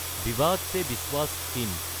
বিবাদ চে বিশ্বাছ স্কিম